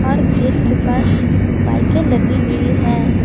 और गेट के पास बाईके लगी हुई है।